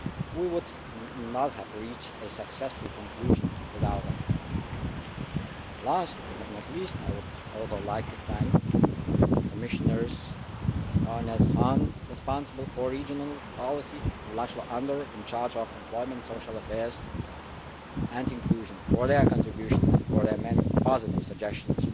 We would not have reached a successful conclusion without them. Last, but not least, I would also like to thank Commissioners Johannes Hahn, responsible for regional policy, and László Andor, in charge of employment, social affairs and inclusion, for their contribution and for their many positive suggestions